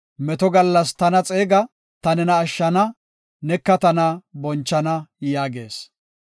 Meto gallas tana xeega; ta nena ashshana; neka tana bonchana” yaagees.